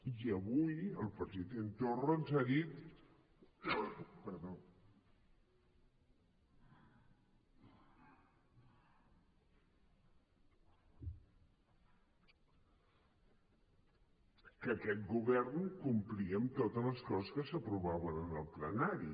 i avui el president torra ens ha dit que aquest govern complia amb totes les coses que s’aprovaven en el plenari